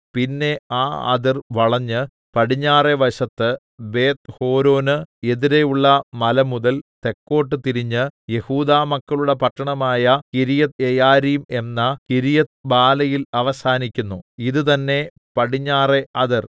പിന്നെ ആ അതിർ വളഞ്ഞ് പടിഞ്ഞാറെ വശത്ത് ബേത്ത്ഹോരോന് എതിരെയുള്ള മല മുതൽ തെക്കോട്ട് തിരിഞ്ഞ് യെഹൂദാമക്കളുടെ പട്ടണമായ കിര്യത്ത്യെയാരീം എന്ന കിര്യത്ത്ബാലയിൽ അവസാനിക്കുന്നു ഇതുതന്നെ പടിഞ്ഞാറെ അതിർ